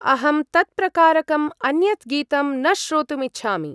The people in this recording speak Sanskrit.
अहं तत्प्रकारकम् अन्यत् गीतं न श्रोतुमिच्छामि।